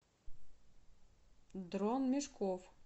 дрон мешков